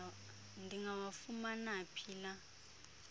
ndingawafumana phi la